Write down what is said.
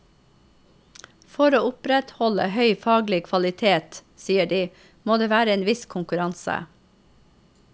For å opprettholde høy faglig kvalitet, sier de, må det være en viss konkurranse.